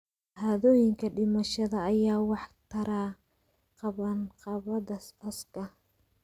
Shahaadooyinka dhimashada ayaa wax ka tara qabanqaabada aaska.